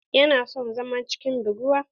Yana son zama cikin buguwa.